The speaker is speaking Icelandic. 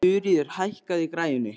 Þuríður, hækkaðu í græjunum.